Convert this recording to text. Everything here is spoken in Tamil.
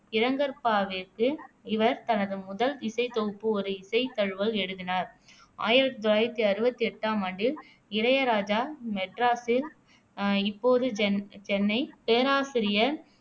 இரங்கற்பாவிற்கு இவர் தனது முதல் இசைத்தொகுப்பு ஒரு இசை தழுவல் எழுதினார் ஆயிரத்தி தொள்ளாயிரத்தி அறுவத்தி எட்டாம் ஆண்டில் இளையராஜா மெட்ராசில் அஹ் இப்போது சென் சென்னை பேராசிரியர்